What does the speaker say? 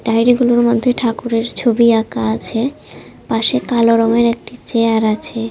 Diary গুলোর মধ্যে ঠাকুরের ছবি আঁকা আছে পাশে কালো রঙের একটি চেয়ার আছে।